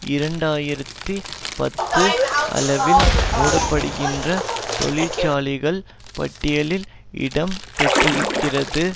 இரண்டு ஆயிரத்தி பத்து அளவில் மூடப்படுகின்ற தொழிற்சாலைகள் பட்டியலில் இடம் பெற்றிருக்கிறது